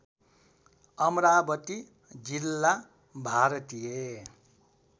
अमरावती जिल्ला भारतीय